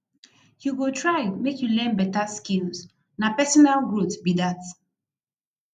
you go try make you learn beta skill na personal growth be dat